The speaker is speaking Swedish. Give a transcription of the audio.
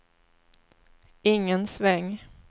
ingen sväng